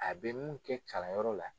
A be mun kɛ kalanyɔrɔ la